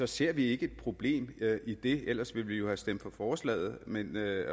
ser vi ikke et problem i det ellers ville vi jo have stemt for forslaget